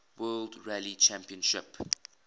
world rally championship